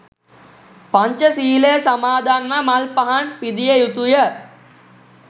පංචශීලය සමාදන්ව මල් පහන් පිදිය යුතුය